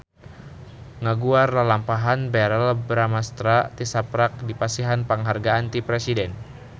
Loba wartawan anu ngaguar lalampahan Verrell Bramastra tisaprak dipasihan panghargaan ti Presiden